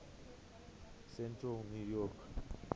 central new york